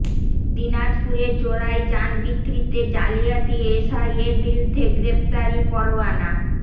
দিনাজপুরে চোরাই যান বিক্রিতে জালিয়াতি এসআইয়ের বিরুদ্ধে গ্রেপ্তারি পরোয়ানা